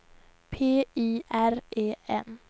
P I R E N